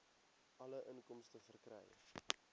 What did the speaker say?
alle inkomste verkry